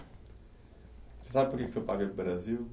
Você sabe por que que seu pai veio para o Brasil?